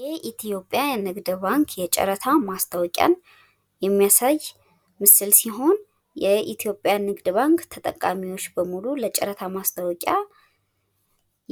የኢትዮጵያ ንግድ ባንክ የጨረታ ማስታወቂያን የሚያሳይ ምስል ሲሆን የኢትዮጵያን ንግድ ባንክ ተጠቃሚዎች በሙሉ ለጨረታ ማስታወቂያ